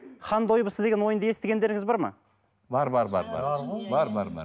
хан дойбысы деген ойынды естігендеріңіз бар ма бар бар бар бар ғой бар бар бар